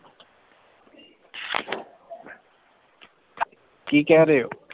ਕੀ ਕਹਿ ਰਹੇ ਹੋ?